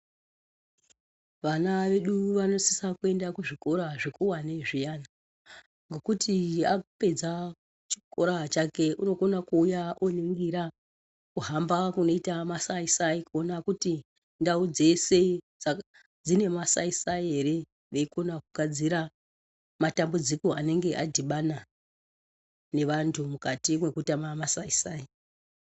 Vana vedu vanosisa kuenda kuzvikora zvikuwane zviyana. Ngokuti apedza chikora chake unokona kuuya oningira kuhamba kunoita masaisai, kuona kuti ndau dzeshe dzine masaisai ere. Veikona kugadzira matambudziko anenge adhibana nevantu mukati mwekutama masaisai.